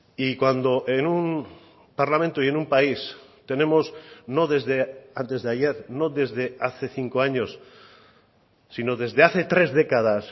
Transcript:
y cuando en un parlamento y en un país tenemos no desde antes de ayer no desde hace cinco años sino desde hace tres décadas